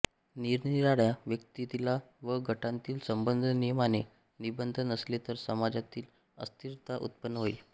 निरनिराळ्या व्यक्तींतील व गटांतील संबंध नियमाने निबद्ध नसले तर समाजात अस्थिरता उत्पन्न होईल